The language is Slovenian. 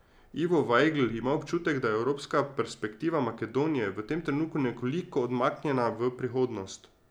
Ivo Vajgl ima občutek, da je evropska perspektiva Makedonije v tem trenutku nekoliko odmaknjena v prihodnost.